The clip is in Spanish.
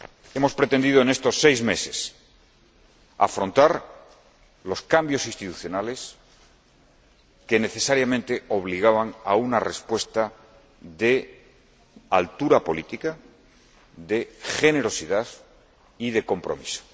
Hemos pretendido en estos seis meses afrontar los cambios institucionales, que necesariamente obligaban a una respuesta de altura política, de generosidad y de compromiso.